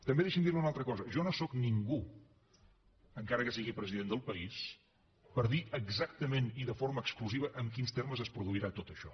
també deixi’m dir li una altra cosa jo no sóc ningú encara que sigui president del país per dir exactament i de forma exclusiva en quins termes es produirà tot això